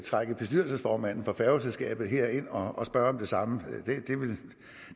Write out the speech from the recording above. trække bestyrelsesformanden for færgeselskabet herind og spørge om det samme